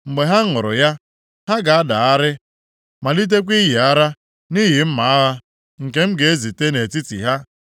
Mgbe ha ṅụrụ ya, ha ga-adagharị, malitekwa ịyị ara nʼihi mma agha, nke m ga-ezite nʼetiti ha.”